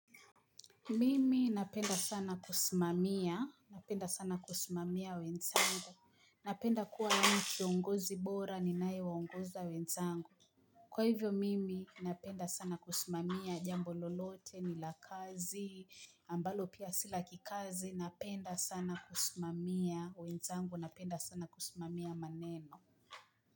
Mimi napenda sana kusimamia. Napenda sana kusimamia wenzangu. Napenda kuwa nani kiongozi bora ni nae waungoza wenzangu. Kwa hivyo, mimi napenda sana kusimamia. Jambo lolote ni lakazi. Ambalo pia sila kikazi. Napenda sana kusimamia wenzangu. Napenda sana kusimamia maneno.